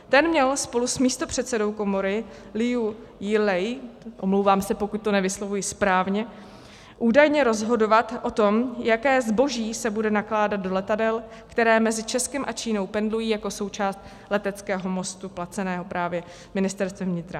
Ten měl spolu s místopředsedou komory Liu Jielei, omlouvám se, pokud to nevyslovuji správně, údajně rozhodovat o tom, jaké zboží se bude nakládat do letadel, které mezi Českem a Čínou pendlují jako součást leteckého mostu placeného právě Ministerstvem vnitra.